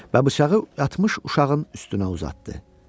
Və bıçağı yatmış uşağın üstünə uzatdı.